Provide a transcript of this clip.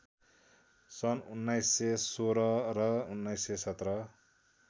सन् १९१६ र १९१७